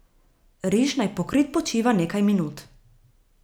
Riž naj pokrit počiva nekaj minut.